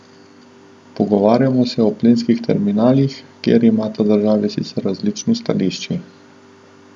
Pogovarjamo se o plinskih terminalih, kjer imata državi sicer različni stališči.